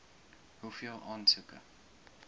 hoeveel aansoeke